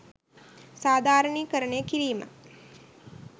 සාධාරණීකරණය කිරීම.